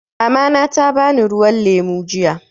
Mamana ta bani ruwan lemu jiya.